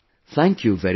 Thank you very much